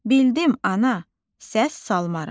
Bildim ana, səs salmaram.